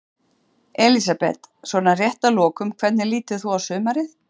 Elísabet: Svona rétt að lokum, hvernig lítur þú á sumarið?